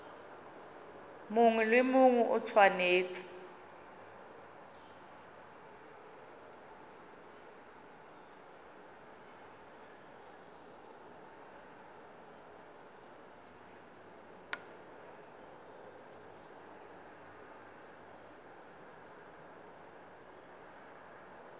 mongwe le mongwe o tshwanetse